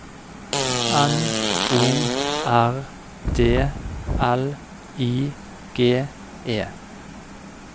N O R D L I G E